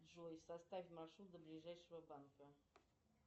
джой составь маршрут до ближайшего банка